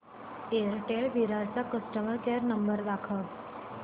Airtel Virar चा customer care number दाखव